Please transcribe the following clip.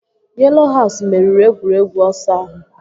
Yelo haus meriri egwuregwu ọsọ ahụ